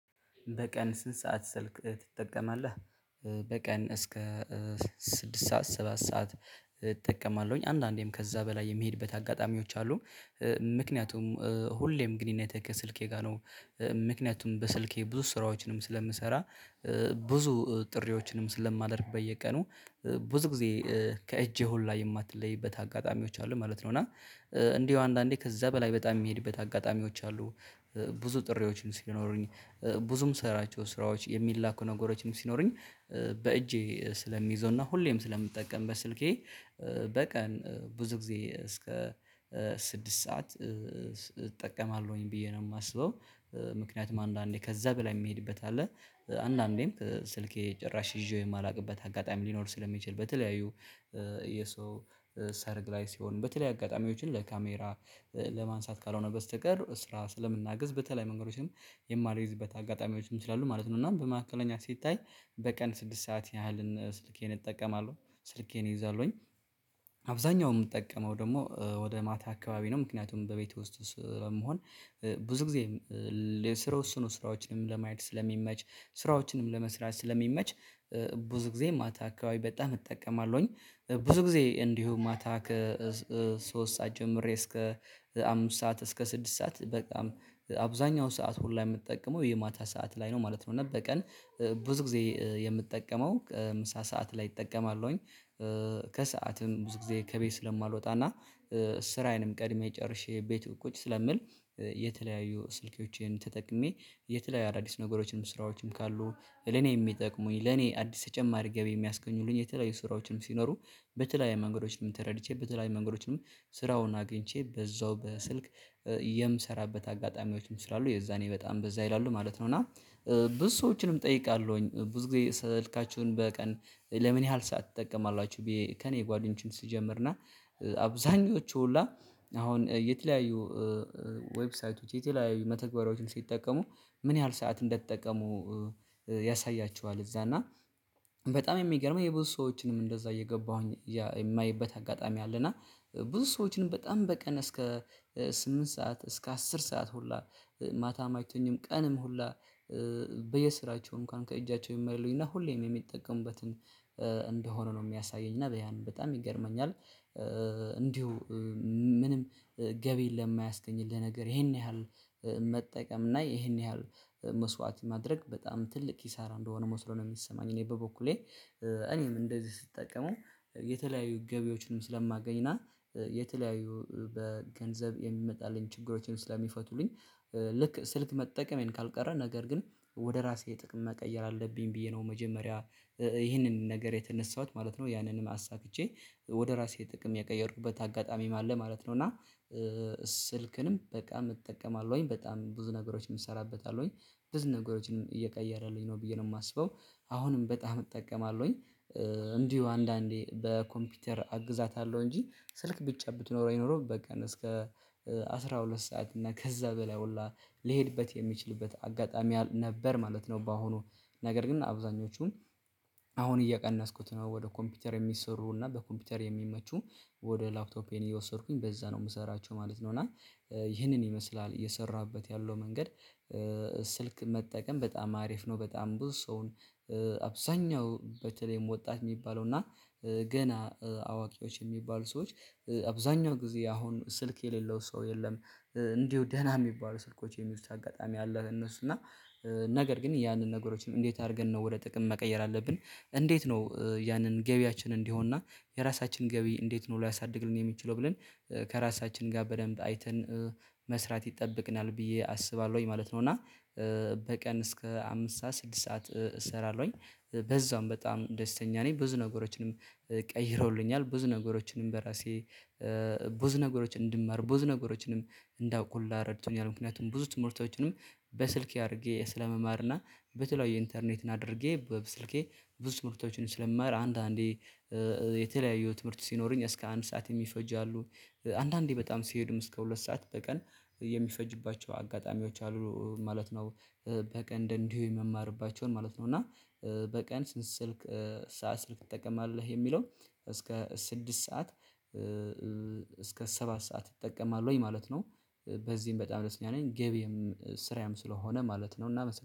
በቀን ስንት ሰዓት ስልክ ትጠቀማለህ? በቀን እስከ ስድስት ሰዓት ሰባት ሰዓት እጠቀማለሁኝ። አንዳንዴም ከዛ በላይ የምሄድበት አጋጣሚዎች አሉ። ምክንያቱም ሁሌም ግንኙነቴ ከስልኬ ጋር ነው። ምክንያቱም በስልኬ ብዙ ስራዎችንም ስለምሰራ፣ ብዙ ጥሪዎችንም ስለማደርግ በየቀኑ ብዙ ጊዜ ከእጄ ሁላ የማትለይበት አጋጣሚዎች አሉ ማለት ነው። እና እንዲሁ አንዳንዴ ከዛ በላይ በጣም የሚሄድበት አጋጣሚዎች አሉ። ብዙ ጥሪዎችን ሲኖሩኝ፣ ብዙ ምሰራቸው ስራዎች፣ የሚላኩ ነገሮችም ሲኖሩኝ በእጄ ስለሚይዘውና ሁሌም ስለምጠቀምበት ስልኬ በቀን ብዙ ጊዜ እስከ ስድስት ሰዓት እጠቀማለሁኝ ብዬ ነው የማስበው። ምክንያቱም አንዳንዴ ከዛ በላይ የምሄድበት አለ። አንዳንዴም ስልኬ ጭራሽ ይዤው የማላውቅበት አጋጣሚ ሊኖር ስለሚችል በተለያዩ የሰው ሰርግ ላይ ሲሆን፣ በተላለይ አጋጣሚዎችን ለካሜራ ለማንሳት ካልሆነ በስተቀር፣ ስራ ስለምናግዝ በተለይ መንገዶችም የማልይዝበት አጋጣሚዎችም ስላሉ ማለት ነው። እና በመካከለኛ ሲታይ በቀን ስድስት ሰዓት ያህልን ስልኬን እጠቀማለሁ፣ ስልኬን እይዛለሁኝ። አብዛኛው የምጠቀመው ደግሞ ወደ ማታ አካባቢ ነው። ምክንያቱም በቤት ውስጥ ስለምሆን ብዙ ጊዜ ለስራው እሱ ነው ስራዎችንም ለማየት ስለሚመች፣ ስራዎችንም ለመስራት ስለሚመች፣ ብዙ ጊዜ ማታ አካባቢ በጣም እጠቀማለሁኝ። ብዙ ጊዜ እንዲሁ ማታ ከሶስት ሰዓት ጀምሬ እስከ አምስት ሰዓት እስከ ስድስት ሰዓት በጣም አብዛኛው ሰዓት ሁላ የምትጠቀመው የማታ ሰዓት ላይ ነው ማለት ነው። እና በቀን ብዙ ጊዜ የምጠቀመው ምሳ ሰዓት ላይ እጠቀማለሁኝ። ከሰአትም ብዙ ጊዜ ከቤት ስለማልወጣና ስራዬንም ቀድሜ ጨርሼ ቤት ቁጭ ስለምል የተለያዩ ስልኬዎቼን ተጠቅሜ የተለያዩ አዳዲስ ነገሮችም ስራዎችም ካሉ ለኔ የሚጠቅሙኝ ለኔ አዲስ ተጨማሪ ገቢ የሚያስገኙልኝ የተለያዩ ስራዎችም ሲኖሩ በተለያየ መንገዶች ነው ተረድቼ በተለያየ መንገዶችም ስራውን አግኝቼ በዛው በስልክ የምሰራበት አጋጣሚዎችም ስላሉ የዛኔ በጣም በዛ ይላሉ ማለት ነው። እና ብዙ ሰዎችንም እጠይቃለሁኝ ብዙ ጊዜ ስልካችሁን በቀን ለምን ያህል ሰዓት ትጠቀማላችሁ ብዬ ከእኔ ጓደኞችም ስጀምርና አብዛኞቹ ሁላ አሁን የተለያዩ ዌብሳይቶች፣ የተለያዩ መተግበሪያዎችን ሲጠቀሙ ምን ያህል ሰዓት እንደተጠቀሙ ያሳያቸዋል እዛ። እና በጣም የሚገርመው የብዙ ሰዎችንም እንደዛ እየገባሁኝ የማየበት አጋጣሚ አለና ብዙ ሰዎችንም በጣም በቀን እስከ ስምንት ሰዓት እስከ አስር ሰዓት ሁላ ማታም እይተኙም ቀንም ሁላ በየስራቸው እንኳን ከእጃቸው የማይለዩና ሁሌም የሚጠቀሙበትን እንደሆነ ነው የሚያሳየኝ። እና በያን በጣም ይገርመኛል። እንዲሁ ምንም ገቢ ለማያስገኝልህ ነገር ይሄን ያህል መጠቀም እና ይሄን ያህል መስዋዕት ማድረግ በጣም ትልቅ ኪሳራ እንደሆነ መስሎ ነው የሚሰማኝ እኔ በበኩሌ። እኔም እንደዚህ ስጠቀመው የተለያዩ ገቢዎችንም ስለማገኝ እና የተለያዩ በገንዘብ የሚመጣልኝ ችግሮችን ስለሚፈቱልኝ ልክ ስልክ መጠቀሜን ካልቀረ ነገር ግን ወደ ራሴ ጥቅም መቀየር አለብኝ ብዬ ነው መጀመሪያ ይህንን ነገር የተነሳሁት ማለት ነው። ያንንም አሳክቼ ወደ ራሴ ጥቅም የቀየሩበት አጋጣሚም አለ ማለት ነው። እና ስልክንም በጣም እጠቀማለሁኝ፣ በጣም ብዙ ነገሮችን እሰራበታለሁኝ። ብዙ ነገሮችንም እየቀየረልኝ ነው ብዬ ነው የማስበው። አሁንም በጣም እጠቀማለሁኝ። እንዲሁ አንዳንዴ በኮምፒውተር አግዛታለሁ እንጂ፣ ስልክ ብቻ ብትኖረኝ ኖሮ በቀን እስከ አስራ ሁለት ሰዓት እና ከዛ በላይ ሁላ ልሄድበት የሚችልበት አጋጣሚ ነበር ማለት ነው። በአሁኑ ነገር ግን አብዛኞቹን አሁን እየቀነስኩት ነው ወደ ኮምፒውተር የሚሰሩና በኮምፒውተር የሚመቹ ወደ ላፕቶፔን እየወሰድኩኝ በዛ ነው የምሰራቸው ማለት ነው። እና ይህንን ይመስላል እየሰራሁበት ያለው መንገድ። ስልክ መጠቀም በጣም አሪፍ ነው። በጣም ብዙ ሰውን አብዛኛው በተለይም ወጣት የሚባለው እና ገና አዋቂዎች የሚባሉ ሰዎች አብዛኛው ጊዜ አሁን ስልክ የሌለው ሰው የለም። እንዲሁ ደህና የሚባሉ ስልኮች የሚይዙት አጋጣሚ አለ እነሱ እና ነገር ግን ያንን ነገሮችን እንዴት አድርገን ነው ወደ ጥቅም መቀየር አለብን፣ እንዴት ነው ያንን ገቢያችን እንዲሆንና የራሳችን ገቢ እንዴት ነው ልያሳድግልን የሚችለው ብለን ከራሳችን ጋር በደንብ አይተን መስራት ይጠበቅናል ብዬ አስባለሁ ማለት ነው እና በቀን እስከ አምስት ሰዓት ስድስት ሰዓት እሰራለሁኝ። በዛውም በጣም ደስተኛ ነኝ። ብዙ ነገሮችንም ቀይረውልኛል፣ ብዙ ነገሮችንም በራሴ ብዙ ነገሮችን እንድማር፣ ብዙ ነገሮችንም እንዳውቅ ሁላ ረድቶኛል። ምክንያቱም ብዙ ትምህርቶችንም በስልክ አድርጌ ስለመማርና በተለያዩ ኢንተርኔትን አድርጌ በስልኬ ብዙ ትምህርቶችን ስለምማር አንዳንዴ የተለያየው ትምህርት ሲኖረኝ እስከ አንድ ሰዓት የሚፈጁ አሉ። አንዳንዴ በጣም ሲሄድም እስከ ሁለት ሰዓት በቀን የሚፈጅባቸው አጋጣሚዎች አሉ ማለት ነው። በቀን እንዲሁ የምማርባቸውን ማለት ነው እና በቀን ስንት ስልክ ሰዓት ስልክ ትጠቀማለህ የሚለው እስከ ስድስት ሰዓት ሰባት ሰዓት እጠቀማለሁኝ ማለት ነው። በዚህም በጣም ደስተኛ ነኝ ገቢዬም ስራዬም ስለሆነ ማለት ነው እና